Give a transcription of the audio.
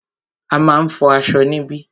A máà ń fọ aṣọ níbí.